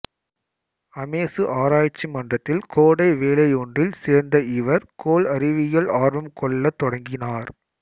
அமெசு ஆராய்ச்சி மன்றத்தில் கோடை வேலையொன்றில் சேர்ந்த இவர் கோள் அறிவியலில் ஆர்வம் கொள்ளத் தொடங்கினார்